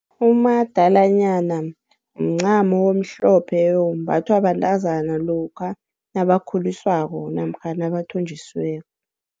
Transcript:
Umadalanyana mncamo omhlophe ombathwa bantazana lokha nabakhuliswako namkha nabathonjisiweko.